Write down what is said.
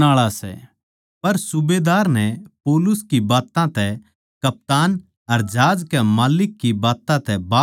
पर सूबेदार नै पौलुस की बात्तां तै कप्तान अर जहाज कै माल्लिक की बात्तां तै बाध मान्या